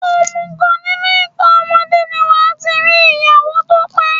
Òmùgọ̀, nínú ìtàn ọmọdé ni wàá ti rí ìyàwó tó pé.